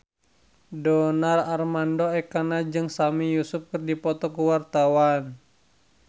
Donar Armando Ekana jeung Sami Yusuf keur dipoto ku wartawan